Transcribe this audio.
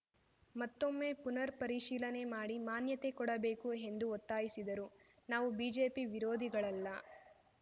ಮತ್ತೊಮ್ಮೆ ಪುನರ್‌ ಪರಿಶೀಲನೆ ಮಾಡಿ ಮಾನ್ಯತೆ ಕೊಡಬೇಕು ಎಂದು ಒತ್ತಾಯಿಸಿದರು ನಾವು ಬಿಜೆಪಿ ವಿರೋಧಿಗಳಲ್ಲ